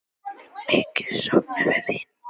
Mikið söknum við þín.